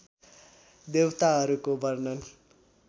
देवताहरूको वर्णन